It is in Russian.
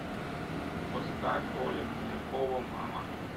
поставь оля полякова мама